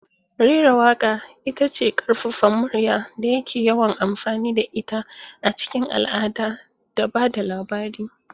Rera waƙa ita ce ƙaƙƙarfan murya da ake yawan amfani da ita a cikin al'ada da ba da labari.